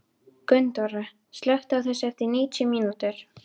Gunndóra, slökktu á þessu eftir níutíu mínútur.